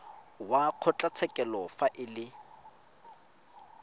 wa kgotlatshekelo fa e le